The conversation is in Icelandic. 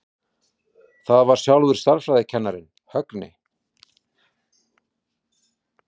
Það var sjálfur stærðfræðikennarinn, Högni.